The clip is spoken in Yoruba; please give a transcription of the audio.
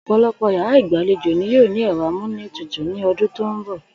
Ò̩pò̩lo̩pò̩ yàrá ìgbàlejò ni yóò ní è̩ro̩ amúlétutù ní o̩dún tó ń bò̩